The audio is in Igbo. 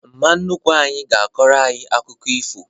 Mma nnukwu anyị ga-akọrọ anyị akụkọ ifo